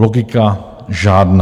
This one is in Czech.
Logika žádná.